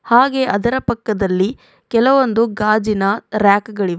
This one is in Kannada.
ಹಾಗೆ ಅದರ ಪಕ್ಕದಲ್ಲಿ ಕೆಲವೊಂದು ಗಾಜಿನ ರ್ಯಾಕ್ ಗಳಿವೆ.